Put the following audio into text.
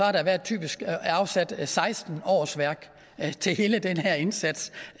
har der typisk været afsat seksten årsværk til hele den her indsats